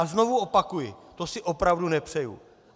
A znovu opakuji, to si opravdu nepřeju.